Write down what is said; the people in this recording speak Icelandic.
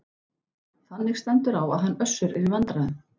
Þannig stendur á að hann Össur er í vandræðum.